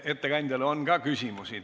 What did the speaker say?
Ettekandjale on ka küsimusi.